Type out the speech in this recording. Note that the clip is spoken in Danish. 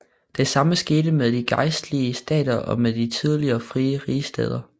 Det samme skete med de gejstlige stater og med de tidligere frie rigsstæder